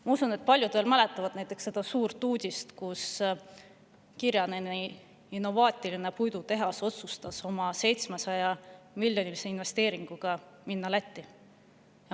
Ma usun, et paljud veel mäletavad seda suurt uudist, et Kirjaneni innovaatiline puidutehas otsustas oma 700‑miljonilise investeeringuga minna Lätti.